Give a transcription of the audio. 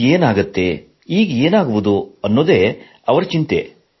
ಮುಂದೆ ಏನಾಗುತ್ತದೆ ಈಗ ಏನಾಗುವುದು ಎಂಬುದೇ ಅವರ ಚಿಂತೆ